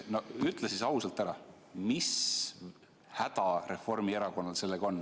Ütle nüüd ausalt ära, mis häda Reformierakonnal sellega on.